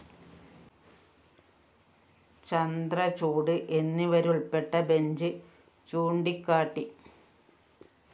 ചന്ദ്രചൂഡ് എന്നിവരുള്‍പ്പെട്ട ബെഞ്ച്‌ ചൂണ്ടിക്കാട്ടി